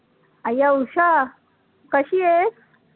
अय्या उषा! कशी आहेस?